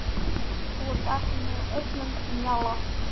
Þú ert ekki með öllum mjalla